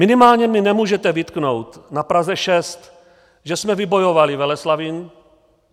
Minimálně mi nemůžete vytknout na Praze 6, že jsme vybojovali Veleslavín.